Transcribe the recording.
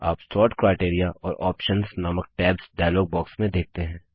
आप sort criteria और options नामक टैब्स डायलॉग बॉक्स में देखते हैं